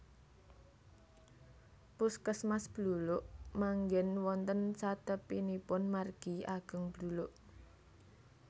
Puskesmas Bluluk manggen wonten satepinipun margi ageng Bluluk